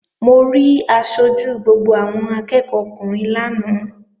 Mo rí aṣojú gbogbo àwọn akẹ́ẹ̀kọ́ ọkùnrin lánàá